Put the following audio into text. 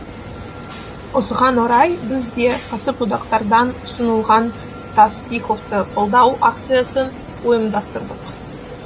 осыған орай біз де кәсіподақтардан ұсынылған таспиховты қолдау акциясын ұйымдастырдық